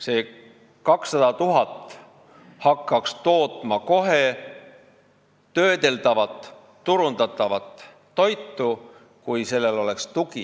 See 200 000 hektarit hakkaks kohe töödeldavat ja turundatavat toitu tootma, kui sellel oleks tugi.